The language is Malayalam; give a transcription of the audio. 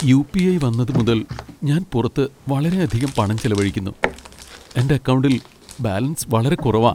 യു.പി.ഐ. വന്നതുമുതൽ, ഞാൻ പുറത്ത് വളരെയധികം പണം ചെലവഴിക്കുന്നു, എന്റെ അക്കൗണ്ടിൽ ബാലൻസ് വളരെ കുറവാ.